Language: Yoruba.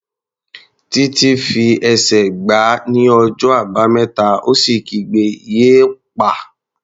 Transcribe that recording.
Títí fi ẹsẹ̀ gbá ní ọjọ́ Àbámẹ́ta ó sì kígbe "yéèpà!"